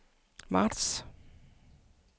marts